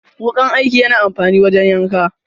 Wukan aiki yana amfani wajen yanka.